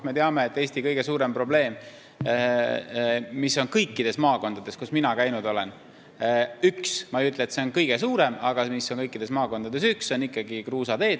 Me teame, et Eesti kõige suurem probleem, mis on olemas kõikides maakondades, kus mina käinud olen – ma ei ütle, et see on kõikjal kõige suurem probleem, aga see on olemas kõikides maakondades –, on ikkagi kruusateed.